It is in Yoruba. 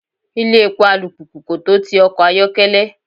Ilé epo alùpùpù kò tó ti ọkọ̀ ayokele.